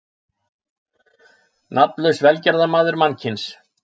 Nafnlaus velgerðarmaður mannkyns.